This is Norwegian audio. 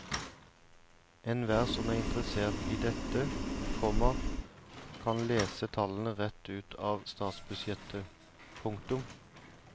Enhver som er interessert i dette, komma kan lese tallene rett ut av statsbudsjettet. punktum